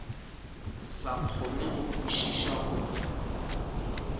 sa kgone go kwešiša gore